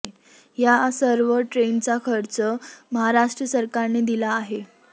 या सर्व ट्रेनचा खर्च महाराष्ट्र सरकारने दिला आहे